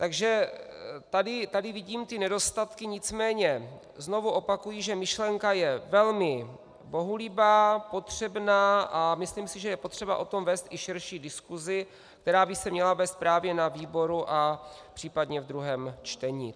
Takže tady vidím ty nedostatky, nicméně znovu opakuji, že myšlenka je velmi bohulibá, potřebná, a myslím si, že je potřeba o tom vést i širší diskusi, která by se měla vést právě na výboru a případně v druhém čtení.